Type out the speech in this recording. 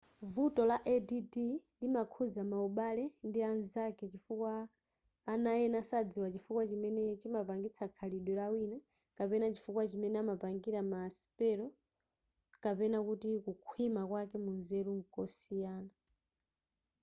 vuto la add limakhuza maubale ndi anzake chifukwa ana ena sadziwa chifukwa chimene chimapangitsa khalidwe lawina kapena chifukwa chimene amapangila ma sipelo kapena kuti kukhwima kwake munzeru nkosiyana